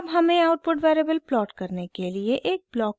अब हमें output variable plot करने के लिए एक ब्लॉक की ज़रुरत है